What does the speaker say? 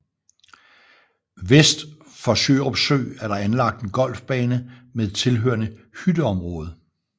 Vest for Sjørup Sø er der anlagt en golfbane med tilhørende hytteområde